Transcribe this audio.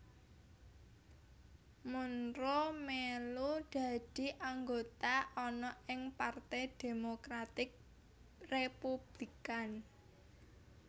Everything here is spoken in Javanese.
Monroe mèlu dadi anggota ana ing Parte Demokratik Republikan